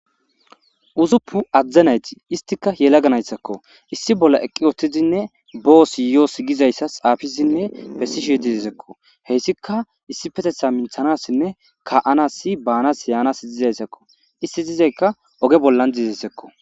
Usuppun adde nayti,izetika yelaga naytako. Issi bolla eqqidinne bossi yoossi giza xuufe xaafidine bessishe dizaysako. Hessika issipetetha minthanasinne ka'anasi baanas yaanas dizaysako.izeti dizaysika oge bolani dizaysako.